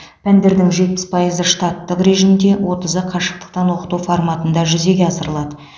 пәндердің жетпіс пайызы штаттық режимде отызы қашықтықтан оқыту форматында жүзеге асырылады